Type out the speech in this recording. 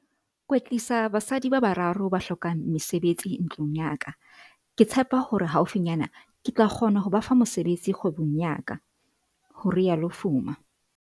"Kwetlisa basadi ba bararo ba hlokang mesebetsi ntlung ya ka. Ke tshepa hore haufinyana ke tla kgona ho ba fa mosebetsi kgwebong ya ka," ho rialo Fuma.